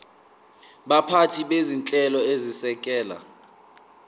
baphathi bezinhlelo ezisekela